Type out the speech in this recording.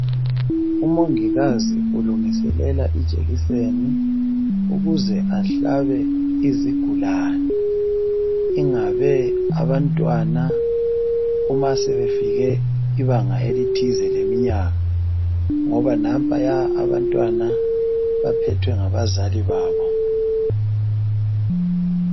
Omongikazi ulungiselela ijekiseni ukuze ahlabe izigulane ingabe abantwana uma sebefike ibanga elithize leminyaka ngoba nampayana abantwana baphethwe ngabazali babo